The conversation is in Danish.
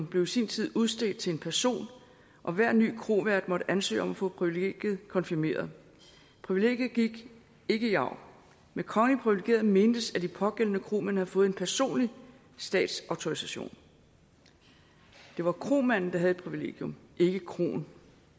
blev i sin tid udstedt til en person og hver ny krovært måtte ansøge om at få privilegiet konfirmeret privilegiet gik ikke i arv med kongeligt privilegeret mentes at de pågældende kromænd havde fået en personlig statsautorisation det var kromanden der havde et privilegium ikke kroen